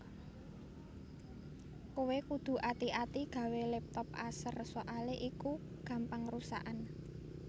Kowe kudu ati ati gawe laptop Acer soale iku gampang rusakan